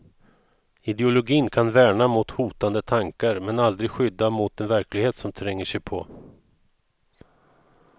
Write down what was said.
Ideologin kan värna mot hotande tankar, men aldrig skydda mot den verklighet som tränger sig på.